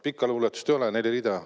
Pikka luuletust ei ole, neli rida.